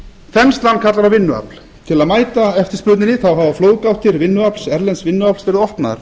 þenslan kallar á vinnuafl til að mæta eftirspurninni hafa flóðgáttir erlends vinnuafls verið opnaðar